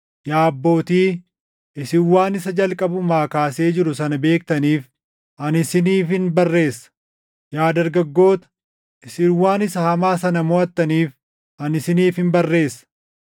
Yaa abbootii, isin waan isa jalqabumaa kaasee jiru sana beektaniif ani isiniifin barreessa. Yaa dargaggoota, isin waan isa hamaa sana moʼattaniif, ani isiniifin barreessa.